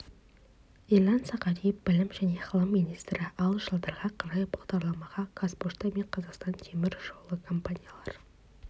ерлан сағадиев білім және ғылым министрі ал жылдарға қарай бағдарламаға қазпошта мен қазақстан темір жолы компаниялары